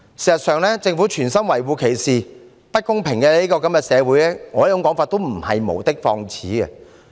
事實上，政府存心維護歧視、不公平社會的說法，亦不是我無的放矢。